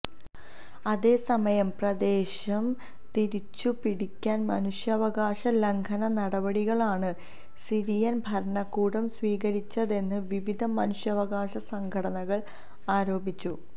അതേസമയം പ്രദേശം തിരിച്ചു പിടിക്കാന് മനുഷ്യാവകാശ ലംഘന നടപടികളാണ് സിറിയന് ഭരണകൂടം സ്വീകരിച്ചതെന്ന് വിവിധ മനുഷ്യാവകാശ സംഘടനള് ആരോപിച്ചു